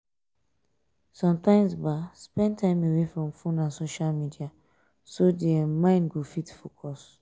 sometimes spend time away from phone and social media so di um mind go fit focus